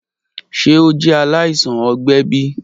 Ṣe o jẹ alaisan ọgbẹ bi?